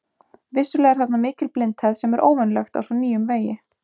Vissulega er þarna mikil blindhæð sem er óvenjulegt á svo nýjum vegi.